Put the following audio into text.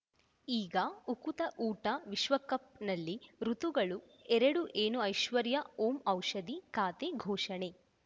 ಈಗ ಉಕುತ ಊಟ ವಿಶ್ವಕಪ್‌ನಲ್ಲಿ ಋತುಗಳು ಎರಡು ಏನು ಐಶ್ವರ್ಯಾ ಓಂ ಔಷಧಿ ಖಾತೆ ಘೋಷಣೆ